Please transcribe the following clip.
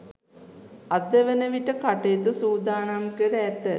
අද වන විට කටයුතු සූදානම් කර ඇත.